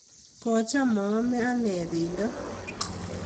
kocham maame anee pendo